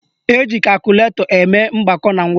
Eji kakụlatọ eme mgbakọ na mwepụ